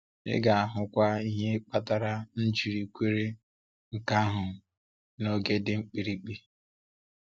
Ị ga-ahụkwa ihe kpatara m ji kwere nke ahụ n’oge dị mkpirikpi.